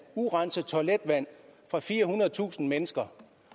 urenset toiletvand fra firehundredetusind mennesker